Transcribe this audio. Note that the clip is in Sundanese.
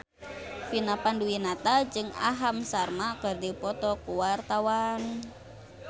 Vina Panduwinata jeung Aham Sharma keur dipoto ku wartawan